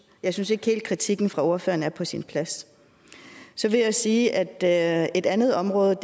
jeg synes ikke helt at kritikken fra ordføreren er på sin plads så vil jeg sige at at et andet område